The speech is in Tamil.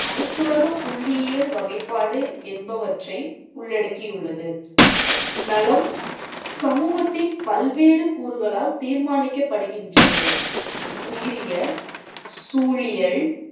அனைத்துலகப் புள்ளியியல் வகைபாடு என்பவற்றை உள்ளடக்கியுள்ளது. நலம் சமூகத்தின் பல்வேறு கூறுகளால் தீர்மானிக்கப்படுகின்றது. உயிரியல், சூழியல்